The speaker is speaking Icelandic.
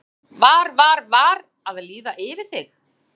Kristján: Var, var, var að líða yfir þig?